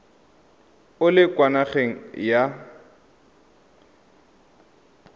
o le kwa nageng ya